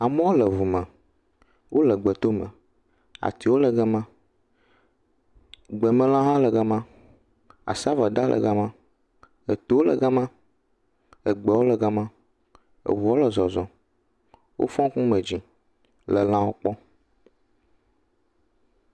Amewo le ʋu me. Wòle gbetome. Atiwo le gama. Gbemelã hã le gama. Asɔveda hã le gama. Eto le gama, egbewo le gama. Eʋua le zɔzɔm. Wofɔ ŋkume dzi le lãwo kpɔm